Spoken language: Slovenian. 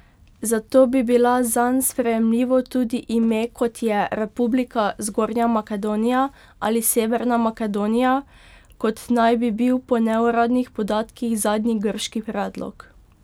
Zato bi bila zanj sprejemljivo tudi ime kot je Republika Zgornja Makedonija ali Severna Makedonija, kot naj bi bil po neuradnih podatkih zadnji grški predlog.